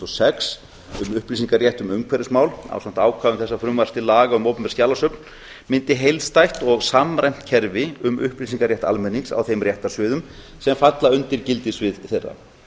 og sex um upplýsingarétt um umhverfismál ásamt ákvæðum þessa frumvarps til laga um opinber skjalasöfn myndi heildstætt og samræmt kerfi um upplýsingarétt almennings á þeim réttarsviðum sem falla undir gildissvið þeirra